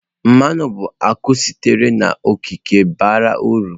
Mmanụ bụ akụ sitere n'okike bara uru.